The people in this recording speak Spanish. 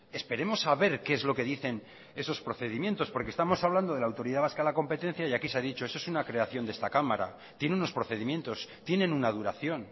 esperemos a ver que es lo que dicen esos procedimientos porque estamos hablando de la autoridad vasca de la competencia y aquí se ha dicho eso es una creación de esta cámara tiene unos procedimientos tienen una duración